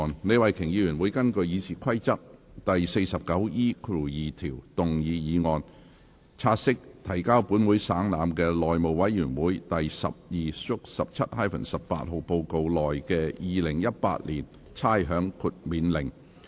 李慧琼議員會根據《議事規則》第 49E2 條動議議案，察悉提交本會省覽的內務委員會第 12/17-18 號報告內的《2018年差餉令》。